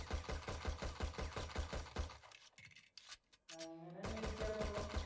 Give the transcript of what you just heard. അങ്ങനെ ചോയ്ച്ചാ ഇപ്പം